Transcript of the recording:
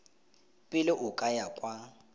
pele o ka ya kwa